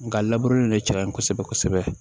Nga labure nin ne jara n ye kosɛbɛ kosɛbɛ